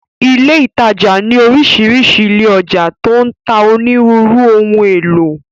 Ilé ìtajà ní orísìírísìí ilé ọjà tó ń ta onírúurú ohun èlò.